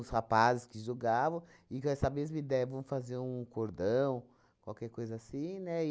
Os rapazes que jogavam, e com essa mesma ideia, vamos fazer um cordão, qualquer coisa assim, né?